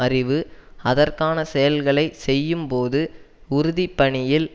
அறிவு அதற்கான செயல்களை செய்யும்போது உறுதி பணியில்